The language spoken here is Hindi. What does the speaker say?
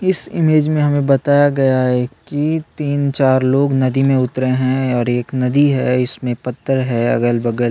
इस इमेज में हमें बताया गया है कि तीन-चार लोग नदी में उतरे है और एक नदी है इसमें पत्थर है अगल-बगल --